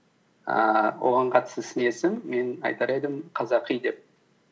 ііі оған қатысты сын есім мен айтар едім қазақи деп